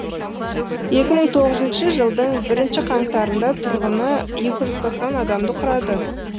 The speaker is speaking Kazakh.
екі мың тоғызыншы жылдың бірінші қаңтарында тұрғыны екі жүз тоқсан адамды құрады